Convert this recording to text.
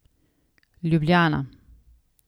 Ljubljana.